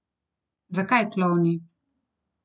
Zakaj klovni?